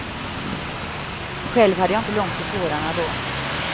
Själv hade jag inte långt till tårarna då.